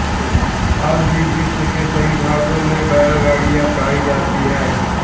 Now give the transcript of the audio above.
आज भी विश्व के सभी भागों में बैलगाड़ियाँ पायी जातीं हैं